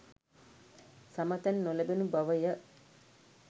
සම තැන් නොලැබුණු බව ය.